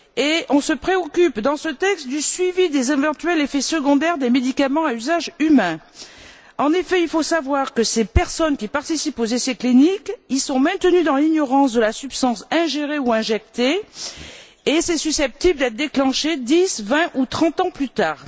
or on se préoccupe, dans ce texte, du suivi des éventuels effets secondaires des médicaments à usage humain. En fait, il faut savoir que ces personnes qui participent aux essais cliniques sont maintenues dans l'ignorance de la substance ingérée ou injectée, et que les effets sont susceptibles de ne se déclencher que dix, vingt ou trente ans plus tard.